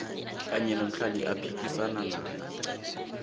kanye nomdlali aphikisana naye